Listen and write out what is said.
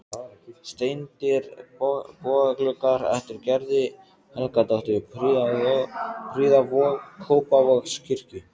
Steindir bogagluggar eftir Gerði Helgadóttur prýða Kópavogskirkju.